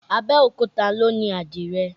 Abẹ́òkúta ló ni àdìrẹ